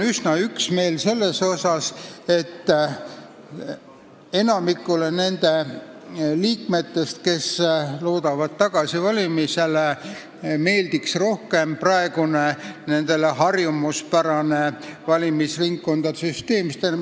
Enamikule nende liikmetest, kes loodavad tagasivalimisele, meeldib rohkem praegune, nendele harjumuspärane valimisringkondade süsteem.